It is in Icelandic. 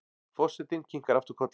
Forsetinn kinkar aftur kolli.